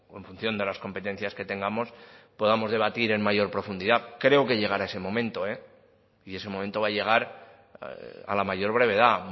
en función de las competencias que tengamos podamos debatir en mayor profundidad creo que llegará ese momento y ese momento va a llegar a la mayor brevedad